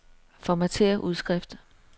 Formatér udskrift.